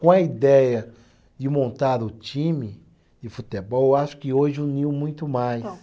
Com a ideia de montar o time de futebol, eu acho que hoje uniu muito mais.